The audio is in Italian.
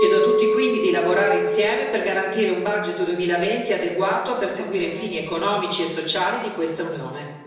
Chiedo a tutti quindi di lavorare insieme per garantire un bilancio 2020 adeguato a perseguire i fini economici e sociali di questa Unione.